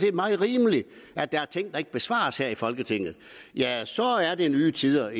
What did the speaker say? er meget rimeligt at der er ting der ikke besvares her i folketinget ja så er det nye tider